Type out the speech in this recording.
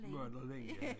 Møller længe